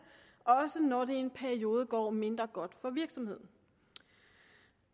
også når det i en periode går mindre godt for virksomheden